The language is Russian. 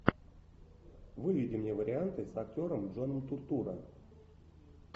выведи мне варианты с актером джоном туртурро